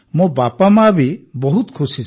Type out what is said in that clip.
ମୋ ବାପାମାଆ ବି ବହୁତ ଖୁସି